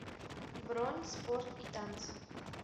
бронь спорт и танцы